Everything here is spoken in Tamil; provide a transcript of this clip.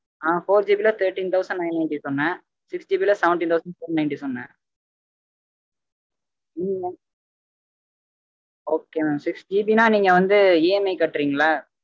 ஹான் 4G ல thirteen thousand nine ninety சொன்னேன் 6GB ல seventeen thousand four ninety சொன்னேன். okay mamsixGB ன நீங்க வந்து EMI கட்ரிங்களா?